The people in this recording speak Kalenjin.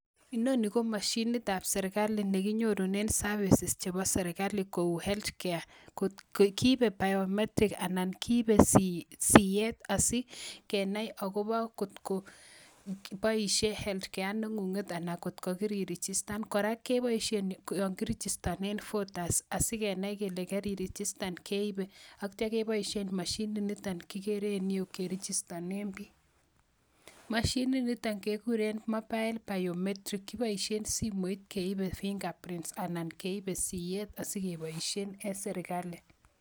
Inonii komosyinit ab serikali neginyorunen services chebo serikali kouu healthcare kiibe biometric anan kiibe siet asikenai agobo kot ko boisyee healthcare nengunget anan kot ko kiririchistan, kora keboisien yoon kirichistonen voters asigenai kele karirichistan keibe, ak tyo keboisien moshinit niton kigere en ireuu kerichistonen biik, moshinit niton kegureen mobile biometric kipoisien simoit keibe fingers prints anan keibe siet asigeboisien en sirkali.